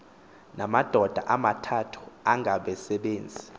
namadoda amathathu angabasebenzi